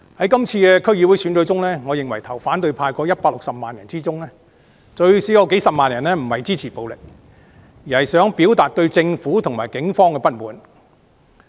今次區議會選舉，我認為票投反對派的160萬人中，最少有幾十萬人並非支持暴力，而是想表達對政府和警方的不滿。